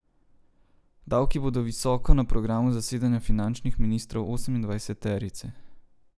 Davki bodo visoko na programu zasedanja finančnih ministrov osemindvajseterice.